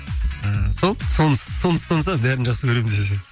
ы сол соны ұстанса бәрін жақсы көремін десең